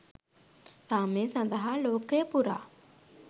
සාමය සඳහා ලෝකය පුරා